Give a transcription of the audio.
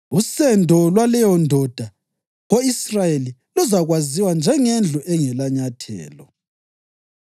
Usendo lwaleyondoda ko-Israyeli luzakwaziwa njengeNdlu engelaNyathelo.